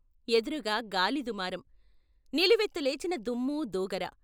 ఎదురుగా గాలి దుమారం నిలువెత్తు లేచిన దుమ్మూ దుగరా